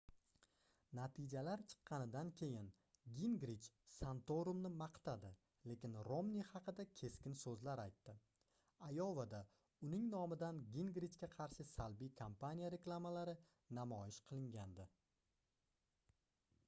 natijalar chiqqanidan keyin gingrich santorumni maqtadi lekin romni haqida keskin soʻzlar aytdi ayovada uning nomidan gingrichga qarshi salbiy kompaniya reklamalari namoyish qilingandi